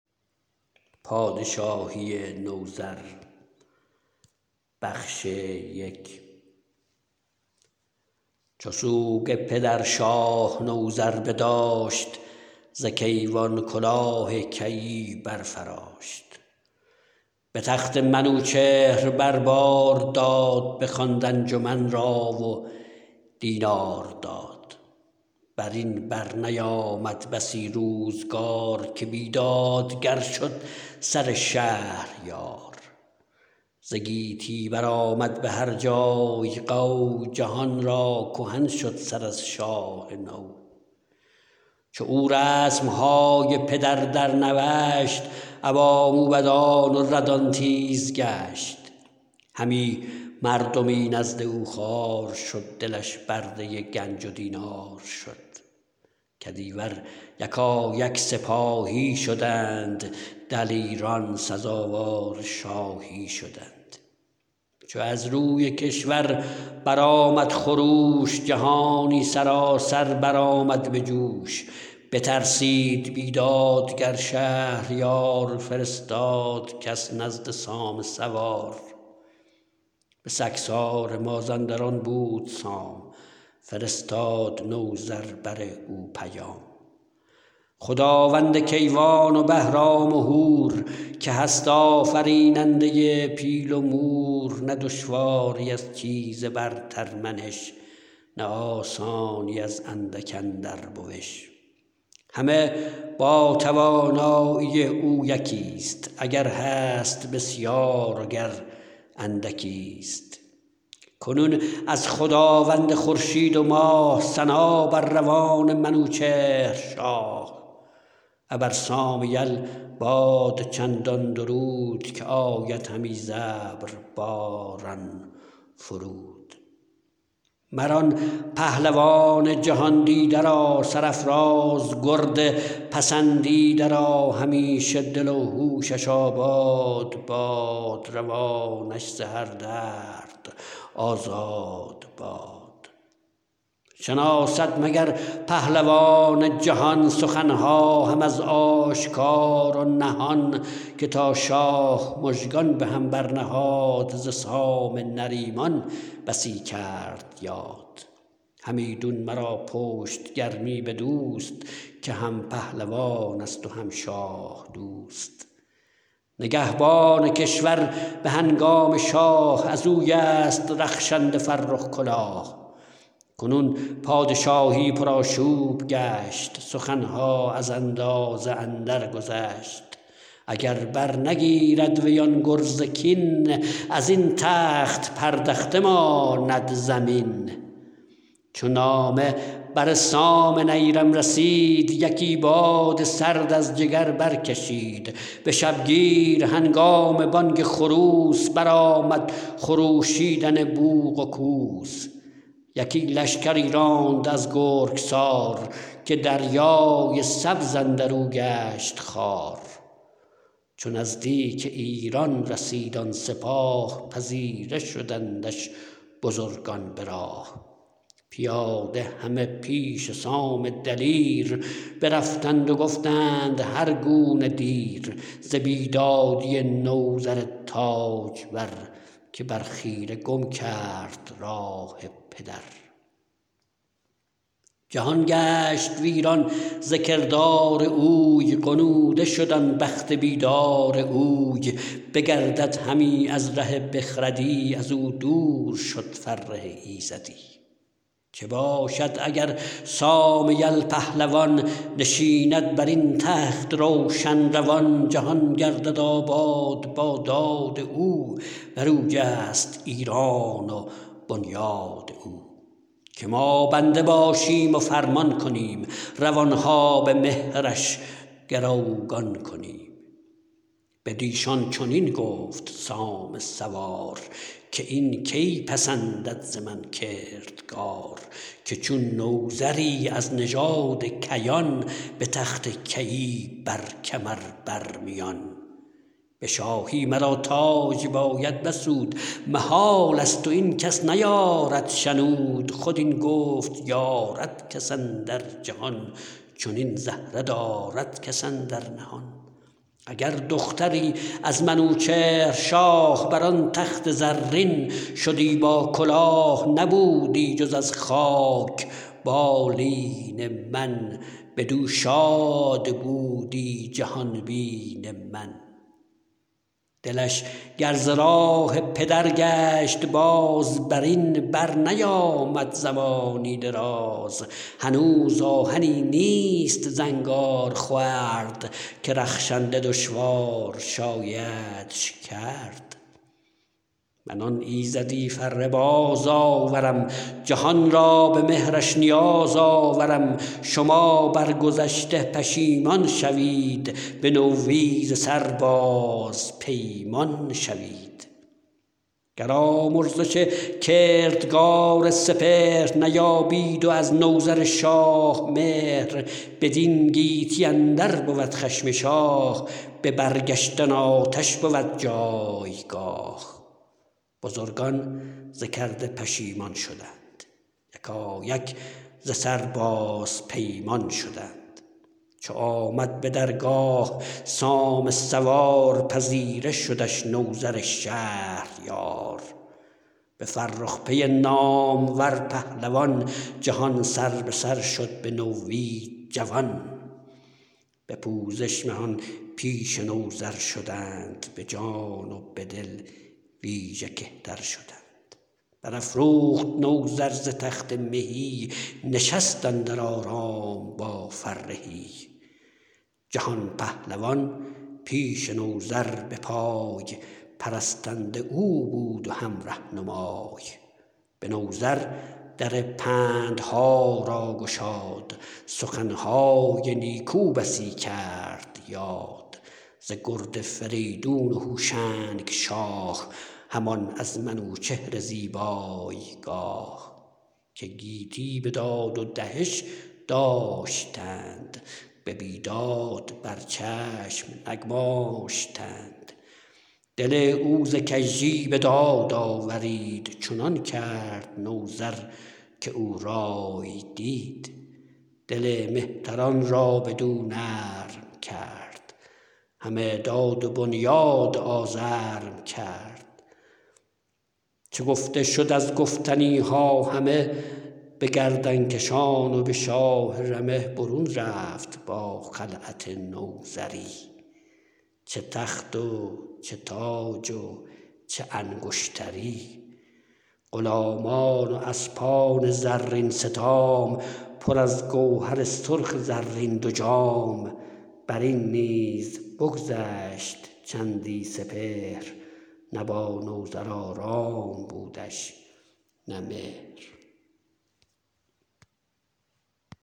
چو سوگ پدر شاه نوذر بداشت ز کیوان کلاه کیی برفراشت به تخت منوچهر بر بار داد بخواند انجمن را و دینار داد برین برنیامد بسی روزگار که بیدادگر شد سر شهریار ز گیتی برآمد به هر جای غو جهان را کهن شد سر از شاه نو چو او رسمهای پدر درنوشت ابا موبدان و ردان تیز گشت همی مردمی نزد او خوار شد دلش برده گنج و دینار شد کدیور یکایک سپاهی شدند دلیران سزاوار شاهی شدند چو از روی کشور برآمد خروش جهانی سراسر برآمد به جوش بترسید بیدادگر شهریار فرستاد کس نزد سام سوار به سگسار مازندران بود سام فرستاد نوذر بر او بر پیام خداوند کیوان و بهرام و هور که هست آفریننده پیل و مور نه دشواری از چیز برترمنش نه آسانی از اندک اندر بوش همه با توانایی او یکیست اگر هست بسیار و گر اندکیست کنون از خداوند خورشید و ماه ثنا بر روان منوچهر شاه ابر سام یل باد چندان درود که آید همی ز ابر باران فرود مران پهلوان جهاندیده را سرافراز گرد پسندیده را همیشه دل و هوشش آباد باد روانش ز هر درد آزاد باد شناسد مگر پهلوان جهان سخنها هم از آشکار و نهان که تا شاه مژگان به هم برنهاد ز سام نریمان بسی کرد یاد همیدون مرا پشت گرمی بدوست که هم پهلوانست و هم شاه دوست نگهبان کشور به هنگام شاه ازویست رخشنده فرخ کلاه کنون پادشاهی پرآشوب گشت سخنها از اندازه اندر گذشت اگر برنگیرد وی آن گرز کین ازین تخت پردخته ماند زمین چو نامه بر سام نیرم رسید یکی باد سرد از جگر برکشید به شبگیر هنگام بانگ خروس برآمد خروشیدن بوق و کوس یکی لشکری راند از گرگسار که دریای سبز اندرو گشت خوار چو نزدیک ایران رسید آن سپاه پذیره شدندش بزرگان به راه پیاده همه پیش سام دلیر برفتند و گفتند هر گونه ویر ز بیدادی نوذر تاجور که بر خیره گم کرد راه پدر جهان گشت ویران ز کردار اوی غنوده شد آن بخت بیدار اوی بگردد همی از ره بخردی ازو دور شد فره ایزدی چه باشد اگر سام یل پهلوان نشیند برین تخت روشن روان جهان گردد آباد با داد او برویست ایران و بنیاد او که ما بنده باشیم و فرمان کنیم روانها به مهرش گروگان کنیم بدیشان چنین گفت سام سوار که این کی پسندد ز من کردگار که چون نوذری از نژاد کیان به تخت کیی بر کمر بر میان به شاهی مرا تاج باید بسود محالست و این کس نیارد شنود خود این گفت یارد کس اندر جهان چنین زهره دارد کس اندر نهان اگر دختری از منوچهر شاه بران تخت زرین شدی با کلاه نبودی جز از خاک بالین من بدو شاد بودی جهانبین من دلش گر ز راه پدر گشت باز برین بر نیامد زمانی دراز هنوز آهنی نیست زنگار خورد که رخشنده دشوار شایدش کرد من آن ایزدی فره باز آورم جهان را به مهرش نیاز آورم شما بر گذشته پشیمان شوید به نوی ز سر باز پیمان شوید گر آمرزش کردگار سپهر نیابید و از نوذر شاه مهر بدین گیتی اندر بود خشم شاه به برگشتن آتش بود جایگاه بزرگان ز کرده پشیمان شدند یکایک ز سر باز پیمان شدند چو آمد به درگاه سام سوار پذیره شدش نوذر شهریار به فرخ پی نامور پهلوان جهان سر به سر شد به نوی جوان به پوزش مهان پیش نوذر شدند به جان و به دل ویژه کهتر شدند برافروخت نوذر ز تخت مهی نشست اندر آرام با فرهی جهان پهلوان پیش نوذر به پای پرستنده او بود و هم رهنمای به نوذر در پندها را گشاد سخنهای نیکو بسی کرد یاد ز گرد فریدون و هوشنگ شاه همان از منوچهر زیبای گاه که گیتی بداد و دهش داشتند به بیداد بر چشم نگماشتند دل او ز کژی به داد آورید چنان کرد نوذر که او رای دید دل مهتران را بدو نرم کرد همه داد و بنیاد آزرم کرد چو گفته شد از گفتنیها همه به گردنکشان و به شاه رمه برون رفت با خلعت نوذری چه تخت و چه تاج و چه انگشتری غلامان و اسپان زرین ستام پر از گوهر سرخ زرین دو جام برین نیز بگذشت چندی سپهر نه با نوذر آرام بودش نه مهر